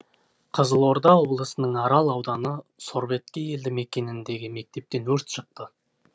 қызылорда облысының арал ауданы сорбеткей елді мекеніндегі мектептен өрт шықты